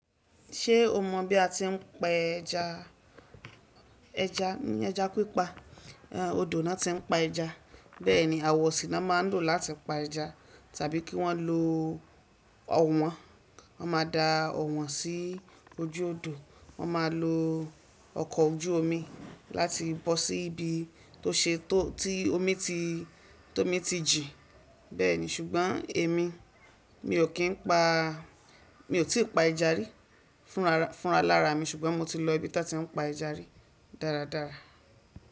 Ṣé o mọ bí a ti ń pa ẹja? Ẹja ní ẹja pípa, ehn odò náà ti ń pa ẹja. Bẹ́ẹ̀ni, àwọ̀ sí nàan ma ń lò láti pa ẹja tàbí kí wọ́n lo ọ̀wọ́n, wọ́n ma da ọ̀wọ́n sí ojú odò, wọ́n máa lo ọkọ̀ ojú omi láti bọ́ sí ibi tó ṣe tó tí omi ti tó omi ti jìn. Bẹ́ẹ̀ni, ṣùgbọ́n èmi, mi ò kí ń pa mi ò tí ì pa ẹja rí fúnra fúnra lára mi ṣùgbọ́n mo ti lọ ibi tí wọ́n ti ń pa ẹja rí dáradára.